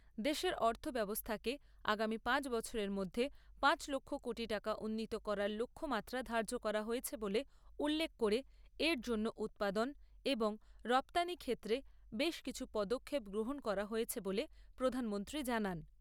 দেশের অর্থব্যবস্থাকে আগামী পাঁচ বছরের মধ্যে পাঁচ লক্ষ কোটি টাকা উন্নীত করার লক্ষ্যমাত্রা ধার্য করা হয়েছে বলে উল্লেখ করে এর জন্য উৎপাদন এবং রপ্তানি ক্ষেত্রে বেশ কিছু পদক্ষেপ গ্রহণ করা হয়েছে বলে প্রধানমন্ত্রী জানান।